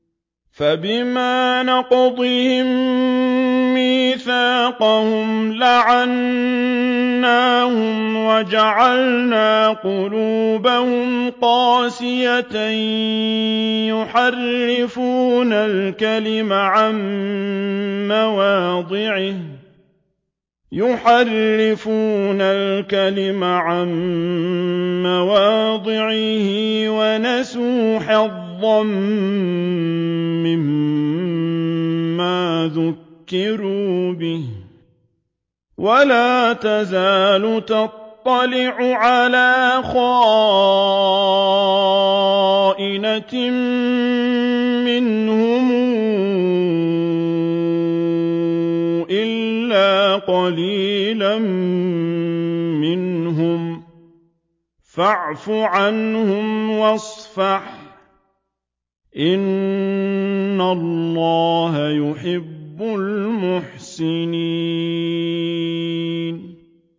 فَبِمَا نَقْضِهِم مِّيثَاقَهُمْ لَعَنَّاهُمْ وَجَعَلْنَا قُلُوبَهُمْ قَاسِيَةً ۖ يُحَرِّفُونَ الْكَلِمَ عَن مَّوَاضِعِهِ ۙ وَنَسُوا حَظًّا مِّمَّا ذُكِّرُوا بِهِ ۚ وَلَا تَزَالُ تَطَّلِعُ عَلَىٰ خَائِنَةٍ مِّنْهُمْ إِلَّا قَلِيلًا مِّنْهُمْ ۖ فَاعْفُ عَنْهُمْ وَاصْفَحْ ۚ إِنَّ اللَّهَ يُحِبُّ الْمُحْسِنِينَ